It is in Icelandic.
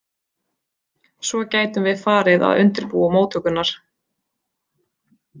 Svo gætum við farið að undirbúa móttökurnar.